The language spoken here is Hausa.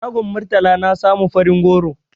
A shagon Murtala na samu farin goro.